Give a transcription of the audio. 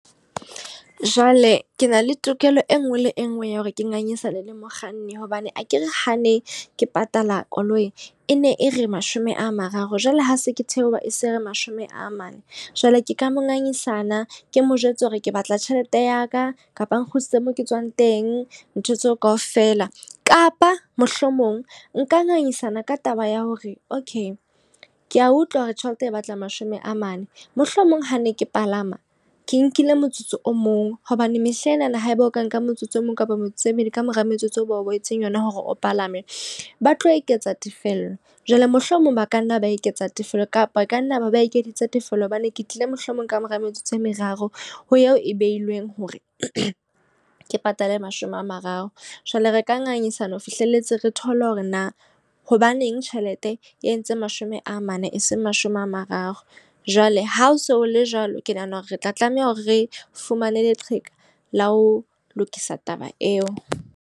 Jwale ke na le tokelo e nngwe le e nngwe ya hore ke ngangisane le mokganni. Bobane akere hane ke patala koloi, e ne e re mashome a mararo, jwale ha se ke theoha e se re mashome a mane. Jwale ke ka mo ngangisana, ke mo jwetse hore ke batla tjhelete ya ka, kapa nkgutlisetse mo ke tswang teng, ntho tseo ka ofela. Kapa mohlomong nka ngangisana ka taba ya hore, okay ke a utlwa hore tjhelete e batla mashome a mane. Mohlomong ha ne ke palama ke nkile motsotso o mong hobane mehlenana, haeba o ka nka metsotso e mong kapa motse meedi kamora metsotso o ba o behetseng yona hore o palame. Ba tlo eketsa tefello. Jwale mohlomong ba ka nna ba eketsa tefelo, kapa ka nna ba ba ekeditse tefello hobane ke tlile mohlomong kamora metsotso e meraro ho eo e behilweng hore ke patale mashome a mararo. Jwale re ka ngangisane ho fihlelletse re thole hore na hobaneng tjhelete e entse mashome a mane, eseng mashome a mararo. Jwale ha o so le jwalo, ke nahana hore re tla tlameha hore re fumane leqheka la ho lokisa taba eo.